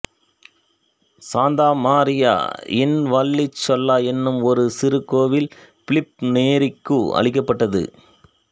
Shantha Maria in Vallicella என்னும் ஒரு சிறு கோவில் பிலிப்பு நேரிக்கு அளிக்கப்பட்டது